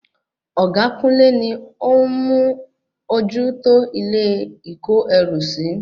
Ọ̀gá kúnlé ni ó ń mú ojú tó ilé ìko ẹrú sí